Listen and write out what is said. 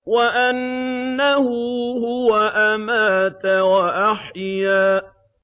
وَأَنَّهُ هُوَ أَمَاتَ وَأَحْيَا